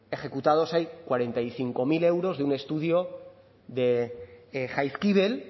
ejecutados hay cuarenta y cinco mil euros de un estudio de jaizkibel